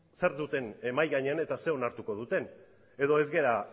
zer duten mahai gainean eta ze onartuko duten edo ez gara